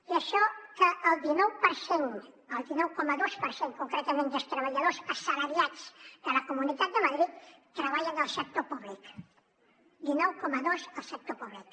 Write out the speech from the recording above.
i això que el dinou per cent el dinou coma dos per cent concretament dels treballadors assalariats de la comunitat de madrid treballa en el sector públic dinou coma dos al sector públic